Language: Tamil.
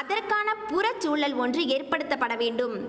அதற்கான புறச்சூழல் ஒன்று ஏற்படுத்தப்பட வேண்டும்